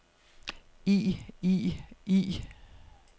i i i